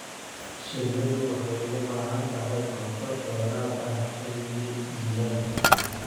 Shinnidu waxay u baahan tahay cunto dheeraad ah xilliga jiilaalka.